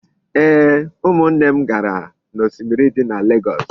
Ee, umunne m gara osimiri di na legoosu